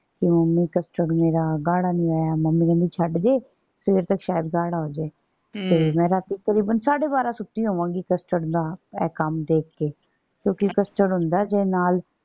ਕਿ mummy custard ਮੇਰਾ ਗਾੜ੍ਹਾ ਨੀ ਹੋਇਆ। ਮਮੀ ਕਹਿੰਦੀ ਛੱਡ ਦੇ। ਸਵੇਰ ਤੱਕ ਸ਼ਾਇਦ ਗਾੜ੍ਹਾ ਹੋ ਜਾਏ। ਤੇ ਮੈਂ ਰਾਤੀਂ ਤਕਰੀਬਨ ਸਾਡੇ ਬਾਰਾਂ ਸੁੱਤੀ ਹੋਵਾਂਗੀ custard ਦਾ ਇਹ ਕੰਮ ਦੇਖ ਕੇ। ਕਿਉਂਕਿ ਹੁੰਦਾ ਹੈ ਜੇ ਨਾਲ।